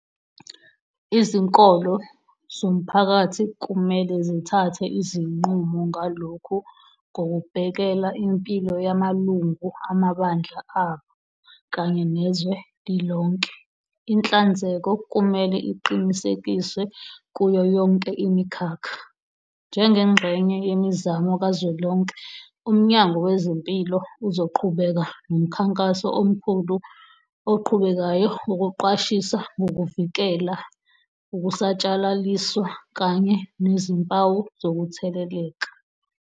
Izinkolo zomphakathi kumele zithathe izinqumo ngalokhu ngokubhekela impilo yamalungu amabandla abo kanye nezwe lilonke. Inhlanzeko kumele iqinisekiswe kuyo yonke imikhakha. Njengengxenye yemizamo kazwelonke UMnyango Wezempilo uzoqhubeka nomkhankaso omkhulu oqhubekayo wokuqwashisa ngokuvikela, ukusatshalaliswa kanye nezimpawu zokutheleleka.